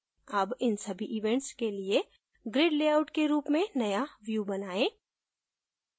अब इन सभी events के लिए grid लेआउट के रूप में नया view बनाएँ